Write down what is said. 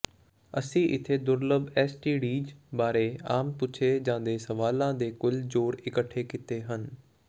ਅਸੀਂ ਇੱਥੇ ਦੁਰਲੱਭ ਐਸਟੀਡੀਜ਼ ਬਾਰੇ ਆਮ ਪੁੱਛੇ ਜਾਂਦੇ ਸਵਾਲਾਂ ਦੇ ਕੁੱਲ ਜੋੜ ਇਕੱਠੇ ਕੀਤੇ ਹਨ